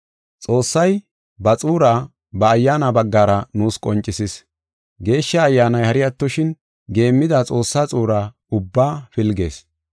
Xoossay ba xuura ba Ayyaana baggara nuus qoncisis. Geeshsha Ayyaanay hari attoshin, geemmida Xoossa xuura ubba pilgees.